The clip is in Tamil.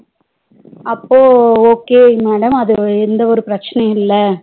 அப்போ okay madam அதுல எந்தவொரு பிரச்சனையும் இல்ல